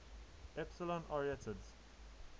epsilon arietids